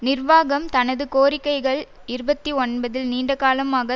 நிர்வாகம் தனது கோரிக்கைகள் இருபத்தி ஒன்பதில் நீண்டகாலமாக